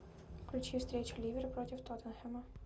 включи встречу ливера против тоттенхэма